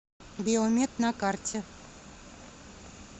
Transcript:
биомед на карте